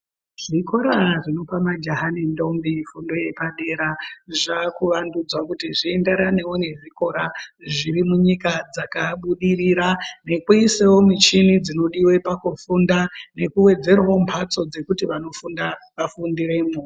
Zvikora zvinopa majaha nendombi fundo yepadera zvakuvandudzwa kuti zvienderanewo nezvikora zviro munyika dzakabudirira nekuisewo michini dzinodiwe pakufunda nekuwedzerawo mbatso dzekuti vanofunda vafundiremo.